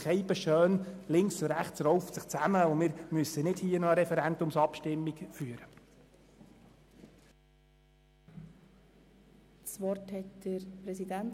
Es wäre sehr schön, wenn sich die Linke und die Rechte zusammenraufen könnten, sodass wir hierzu nicht noch eine Referendumsabstimmung durchführen müssten.